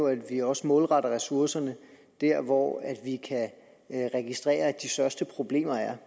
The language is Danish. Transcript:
at vi også målretter ressourcerne der hvor vi kan registrere at de største problemer er